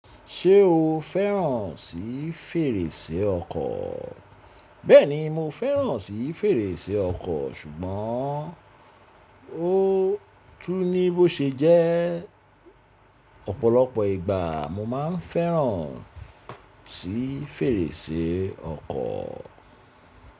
Ṣé o fẹ́ràn sí fèrèsé ọkọ̀? Bẹ́ẹ̀ni, mo fẹ́ràn sí fèrèsé ọkọ̀, ṣùgbọ́n ó tú ní bó ṣe jẹ́. Ọ̀pọ̀lọpọ̀ ìgbà mo máa ń fẹ́ràn sí fèrèsé ọkọ̀